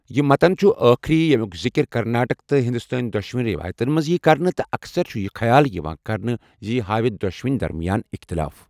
یہِ متن چھُ أخری یمیُک ذِکر کرناٹک تہٕ ہندوستٲنی دۄشوٕنی رِوایتن منٛز ییہِ کرنہٕ تہٕ اکثر چھُ یہِ خیال یِوان کرنہٕ زِ یہِ ہاوِ دۄشوٕنۍ درمیان اختِلاف۔